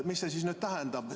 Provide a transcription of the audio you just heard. Mis see siis nüüd tähendab?